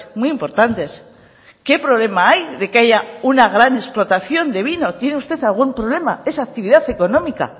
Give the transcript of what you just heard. muy importantes qué problema hay de que haya una gran explotación de vino tiene usted algún problema es actividad económica